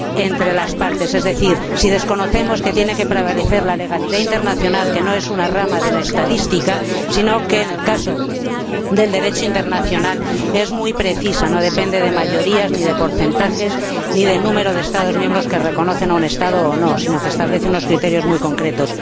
entre las partes, es decir, si desconocemos que tiene que prevalecer la legalidad internacional, que no es una rama de la Estadística, sino que, en el caso del Derecho internacional, es muy precisa y no depende de mayorías, ni de porcentajes, ni de número de Estados miembros que reconocen un Estado o no, sino que establece unos criterios muy concretos.